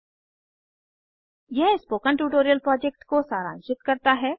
httpspoken tutorialorg What is a Spoken Tutorial यह spoken tutorial project को सारांशित करता है